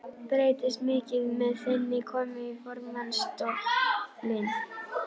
Breytist mikið með þinni komu í formannsstólinn?